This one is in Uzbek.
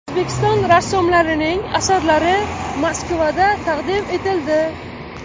O‘zbekiston rassomlarining asarlari Moskvada taqdim etildi.